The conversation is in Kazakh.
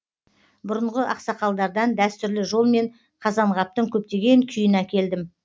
бұрынғы ақсақалдардан дәстүрлі жолмен қазанғаптың көптеген күйін әкелдім